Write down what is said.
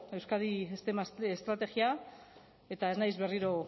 euskadi steam estrategia eta ez naiz berriro